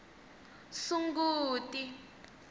sunguti